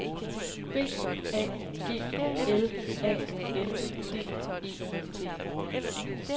B A G L A N D E T